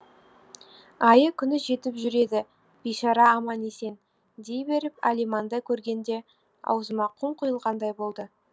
айы күні жетіп жүр еді бейшара аман есен дей беріп алиманды көргенде аузыма құм құйылғандай болды